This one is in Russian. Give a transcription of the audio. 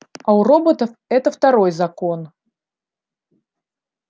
а у роботов это второй закон